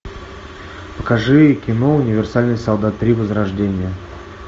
покажи кино универсальный солдат три возрождение